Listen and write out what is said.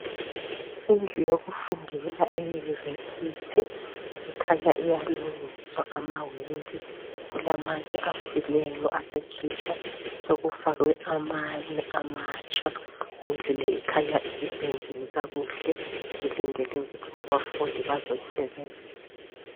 Indlu yokufundela e university ukhanya iyalungiswa amawindi kukhanya kulamanye afileyo asekhitshwa sokufakwe amanye amatsha indlu le ikhanya isipendiwe kakuhle ilendele ukuthi abafundi bazoyisebenzisa